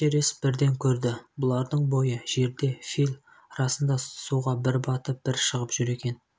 эшерест бірден көрді бұлардан бойы жерде фил расында суға бір батып бір шығып жүр екен